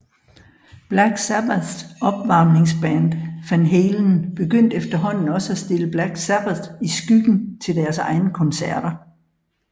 Black Sabbaths opvarmningsband Van Halen begyndte efterhånden også at stille Black Sabbath i skyggen til deres egne koncerter